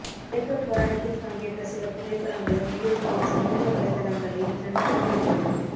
Jacob போராட்டத்தில் பங்கேற்ற சில புகைப்படங்களும் வீடியோக்களும் சமூக வலைதளங்களில் டிரெண்டாகி வருகிறது